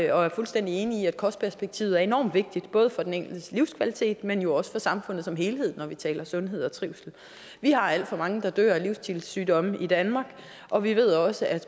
og er fuldstændig enig i at kostperspektivet er enormt vigtigt både for den enkeltes livskvalitet men jo også for samfundet som helhed når vi taler sundhed og trivsel vi har alt for mange der dør af livsstilssygdomme i danmark og vi ved også at